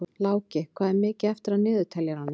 Láki, hvað er mikið eftir af niðurteljaranum?